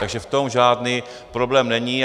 Takže v tom žádný problém není.